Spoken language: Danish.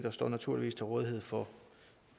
og står naturligvis til rådighed for